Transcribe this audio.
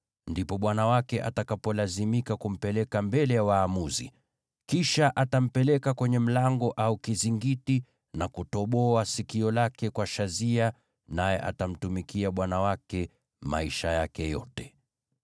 ndipo bwana wake atakapolazimika kumpeleka mbele ya waamuzi. Kisha atampeleka kwenye mlango au kizingiti na kutoboa sikio lake kwa shazia. Naye atamtumikia bwana wake maisha yake yote.